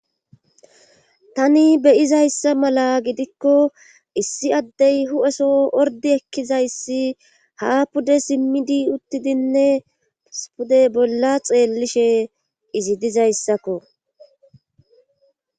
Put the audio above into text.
Tani be'iza issa mala giddikko, issi addey huphpheso orddi ekkiza issi haa pude simmidi uttidinne issi pude bolla xeellishe izi diza issakko.